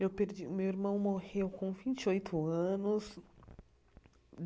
Eu perdi o meu irmão morreu com vinte e oito anos.